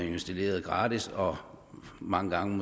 installeret gratis og mange gange